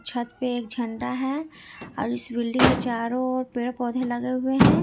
छत पे एक झंडा है और इस बिल्डिंग के चारों ओर पेड़ पौधे लगे हुए हैं।